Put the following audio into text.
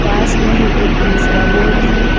पास में ही एक दूसरा बोर्ड है।